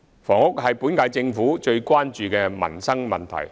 房屋是本屆政府最關注的民生問題。